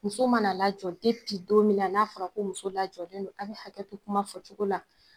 Muso mana lajɔ don min na n'a fɔra ko muso lajɔlen don a bɛ hakɛ to kuma fɔ cogo la